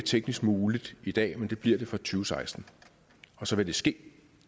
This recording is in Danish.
teknisk muligt i dag men det bliver det fra to tusind og seksten og så vil det ske